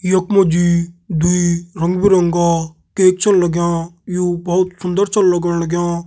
यख मा जी दुई रंग बिरंगा केक छन लगयां यू बहोत सुंदर छा लगण लगयां ।